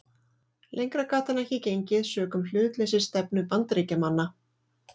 Lengra gat hann ekki gengið sökum hlutleysisstefnu Bandaríkjamanna.